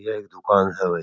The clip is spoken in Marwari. यह एक दुकान है भाई।